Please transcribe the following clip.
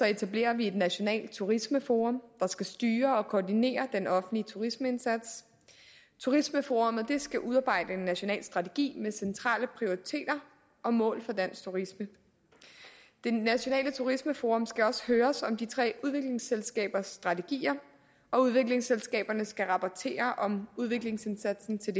etablerer vi et nationalt turismeforum der skal styre og koordinere den offentlige turismeindsats turismeforummet skal udarbejde en national strategi med centrale prioriteter og mål for dansk turisme det nationale turismeforum skal også høres om de tre udviklingsselskabers strategier og udviklingsselskaberne skal rapportere om udviklingsindsatsen til